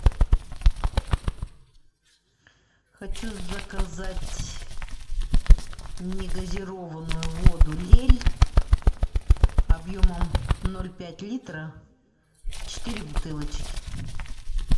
хочу заказать негазированную воду лель объемом ноль пять литра четыре бутылочки